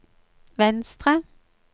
venstre